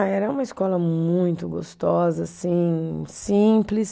Ah, era uma escola muito gostosa, assim, simples.